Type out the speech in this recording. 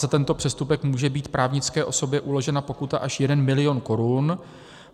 Za tento přestupek může být právnické osobě uložena pokuta až 1 mil. korun.